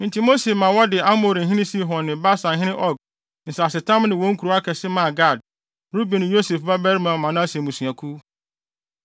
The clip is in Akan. Enti Mose ma wɔde Amorihene Sihon ne Basanhene Og nsasetam ne wɔn nkurow akɛse maa Gad, Ruben ne Yosef babarima Manase mmusuakuw.